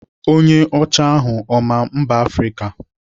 Onye ọcha ahụ ọ maa mba Afrịka?